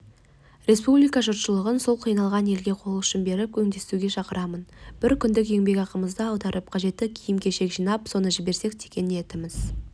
республика жұртшылығын сол қиналған елге қол ұшын беріп көмектесуге шақырамын бір күндік еңбекақымызды аударып қажетті киім-кешек жинап соны жіберсек деген ниетіміз